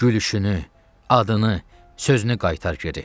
Gülüşünü, adını, sözünü qaytar geri.